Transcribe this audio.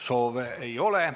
Soove ei ole.